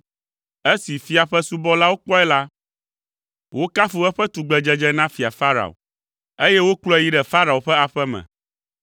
Esi fia ƒe subɔlawo kpɔe la, wokafu eƒe tugbedzedze na Fia Farao, eye wokplɔe yi ɖe Farao ƒe aƒe me.